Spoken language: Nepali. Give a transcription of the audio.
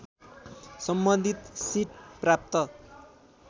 सम्बन्धित सिट प्राप्त